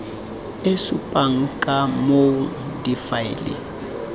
e supang ka moo difaele